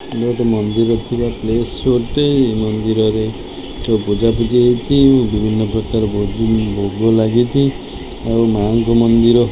ଇଏ ମନ୍ଦିରରେ ଥିବା ପ୍ଲେସ ଗୋଟେ ଏହି ମନ୍ଦିରରେ ପୂଜା ପୂଜି ହେଉଛି ବିଭିନ୍ନ ପ୍ରକାର ଭୋଗ ଲାଗିଛି ଆଉ ମାଆଙ୍କ ମନ୍ଦିର --